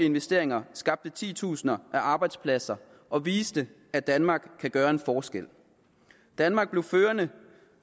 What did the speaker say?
investeringer skabte titusinder af arbejdspladser og viste at danmark kan gøre en forskel danmark blev førende